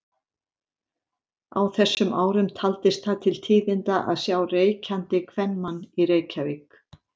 Á þessum árum taldist það til tíðinda að sjá reykjandi kvenmann í Reykjavík.